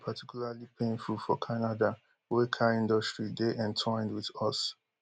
dis move dey particularly painful for canada wey car industry dey entwined wit us